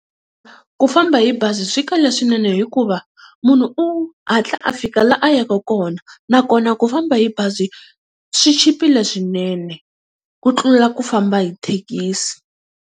Ku famba hi bazi swi kahle swinene hikuva munhu u hatla a fika laha a yaka kona nakona ku famba hi bazi swi chipile swinene ku tlula ku famba hi thekisi.